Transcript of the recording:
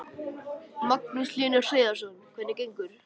Magnús Hlynur Hreiðarsson: Hvernig gengur?